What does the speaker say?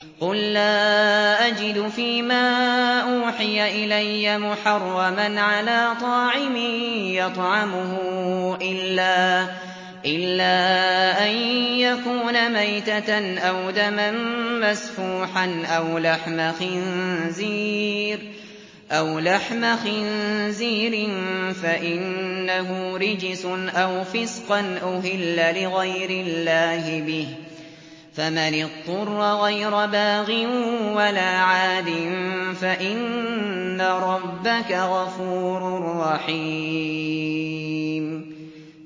قُل لَّا أَجِدُ فِي مَا أُوحِيَ إِلَيَّ مُحَرَّمًا عَلَىٰ طَاعِمٍ يَطْعَمُهُ إِلَّا أَن يَكُونَ مَيْتَةً أَوْ دَمًا مَّسْفُوحًا أَوْ لَحْمَ خِنزِيرٍ فَإِنَّهُ رِجْسٌ أَوْ فِسْقًا أُهِلَّ لِغَيْرِ اللَّهِ بِهِ ۚ فَمَنِ اضْطُرَّ غَيْرَ بَاغٍ وَلَا عَادٍ فَإِنَّ رَبَّكَ غَفُورٌ رَّحِيمٌ